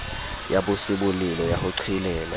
ya bosebolelo ya ho qhelela